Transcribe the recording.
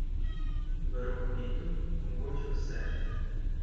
V rokometu je mogoče vse.